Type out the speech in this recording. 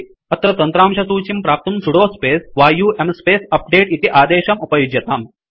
अत्र तन्त्रांशसूचीं प्राप्तुं sudo space yum space update इति आदेशम् उपयुज्यताम्